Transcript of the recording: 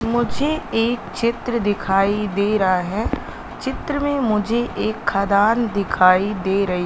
मुझे एक चित्र दिखाई दे रहा है चित्र में मुझे एक खदान दिखाई दे रही--